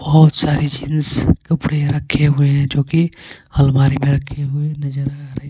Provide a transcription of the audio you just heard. बहुत सारी जीन्स कपड़े रखे हुए हैं जो कि अलमारी में रखे हुए नजर आ रहे हैं.